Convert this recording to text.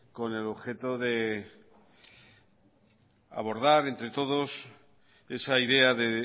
con el objeto de abordar entre todos esa idea de